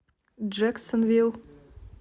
джэксонвилл